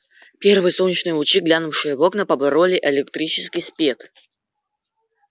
первые солнечные лучи глянувшие в окна побороли электрический спет